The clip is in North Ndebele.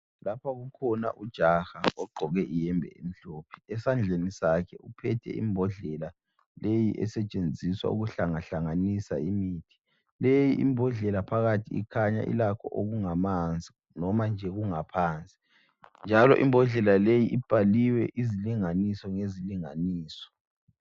Lapha kukhona ujaha ogqoke ihembe emhlophe. Esandleni sakhe uphethe imbodlela leyi esetshenziswa ukuhlangahlanganisa imithi. Leyi imbodlela phakathi ikhanya ilakho okungamanzi noma nje kungaphansi. Njalo imbodlela leyi ibhaliwe izilinganiso ngesilinganiso.